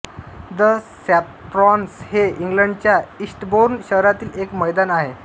the Saffrons हे इंग्लंडच्या Eastbourne शहरातील एक मैदान आहे